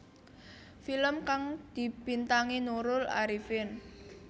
Film kang dibintangi Nurul Arifin